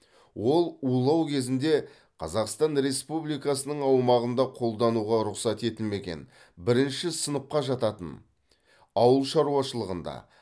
ол улау кезінде қазақстан республикасының аумағында қолдануға рұқсат етілмеген бірінші сыныпқа жататын ауылшаруашылығында